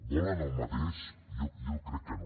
volen el mateix jo crec que no